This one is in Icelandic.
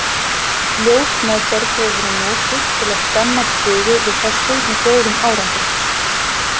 Ljósmeðferð hefur verið notuð til að stemma stigu við þessu með góðum árangri.